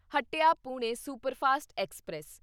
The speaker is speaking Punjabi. Hatia Pune superfast express